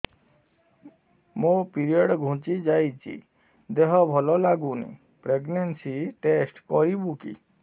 ମୋ ପିରିଅଡ଼ ଘୁଞ୍ଚି ଯାଇଛି ଦେହ ଭଲ ଲାଗୁନି ପ୍ରେଗ୍ନନ୍ସି ଟେଷ୍ଟ କରିବୁ କି